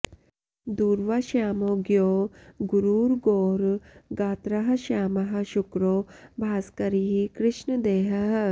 दूर्वा श्यामो ज्ञो गुरुर्गौर गात्रः श्यामः शुक्रो भास्करिः कृष्णदेहः